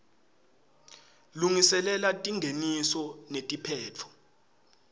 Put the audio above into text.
lungiselela tingeniso netiphetfo